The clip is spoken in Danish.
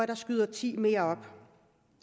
der skyder ti mere op